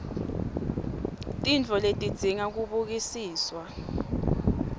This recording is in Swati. tintfo letidzinga kubukisiswa